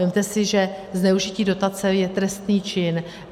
Vezměte si, že zneužití dotace je trestný čin.